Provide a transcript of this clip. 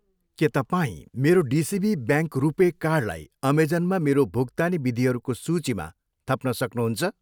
के तपाईँ मेरो डिसिबी ब्याङ्क रुपे कार्डलाई अमेजनमा मेरो भुक्तानी विधिहरूको सूचीमा थप्न सक्नुहुन्छ?